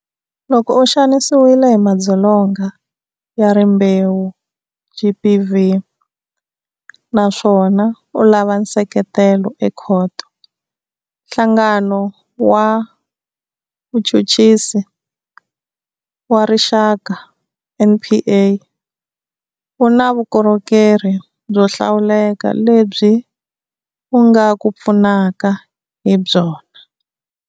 Loko u xanisiwile hi madzolonga ya rimbewu, GBV, naswona u lava nseketelo ekhoto, Nhlangano wa Vuchuchisi wa Rixaka, NPA, wu na vukorhokerhi byo hlawuleka lebyi wu nga ku pfunaka hi byona.